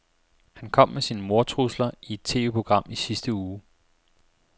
Han kom med sine mordtrusler i et TVprogram i sidste uge.